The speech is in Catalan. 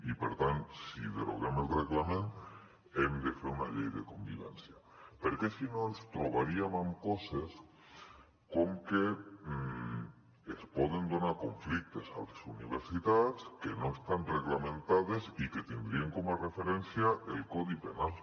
i per tant si deroguem el reglament hem de fer una llei de convivència perquè si no ens trobaríem amb coses com que es poden donar conflictes a les universitats que no estan reglamentats i que tindrien com a referència el codi penal